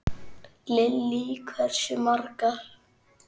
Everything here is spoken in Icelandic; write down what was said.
Lillý: Hversu margar?